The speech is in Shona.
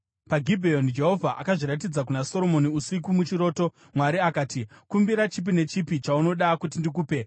PaGibheoni Jehovha akazviratidza kuna Soromoni usiku muchiroto, Mwari akati, “Kumbira chipi nechipi chaunoda kuti ndikupe.”